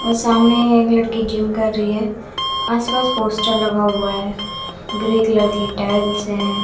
और सामने एक लड़की जिम कर रही है आस पास पोस्टर लगा हुआ है ग्रे कलर की टाइल्स हैं।